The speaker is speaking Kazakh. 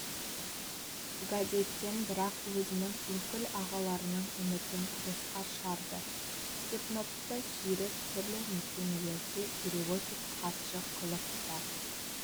газеттен бірақ өзінің өкіл ағаларының үмітін босқа шығарды степновты сүйреп түрлі мекемелерде переводчик хатшы қылып та